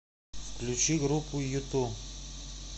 включи группу юту